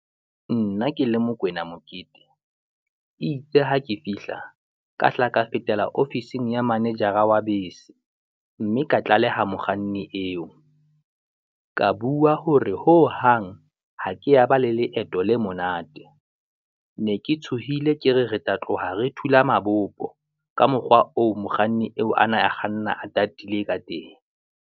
Nna ke le Mokwena Mokete e itse ha ke fihla, ka hla ka fetela ofising ya manejara wa bese, mme ka tlaleha mokganni eo. Ka bua hore hohang ha ke ya ba le leeto le monate. Ne tshohile ke re re tla tloha re thula mabopo, ka mokgwa oo mokganni eo ana a kganna a tatile ka teng.